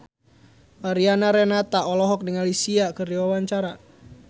Mariana Renata olohok ningali Sia keur diwawancara